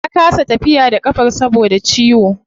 Ta kasa tafiya da kafar saboda ciwo